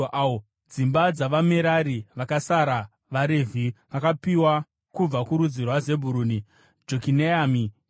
Dzimba dzavaMerari (vakasara vavaRevhi) vakapiwa: kubva kurudzi rwaZebhuruni, Jokineami, Katira,